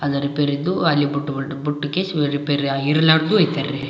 ಅದ ರಿಪೇರಿ ಇದ್ದು ಅಲ್ಲಿ ಬುಟ್ಟು ಹೊರ್ಟ್ ಬುಟ್ಟುಕೆ ಇವು ರಿಪೇರಿ ಆಗಿರ್ಲಾರ್ದು ಒಯ್ತಾರೇ.